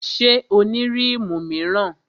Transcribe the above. Ṣé o ní rímù míràn?